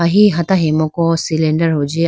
he hata hayimuku cylinder huji.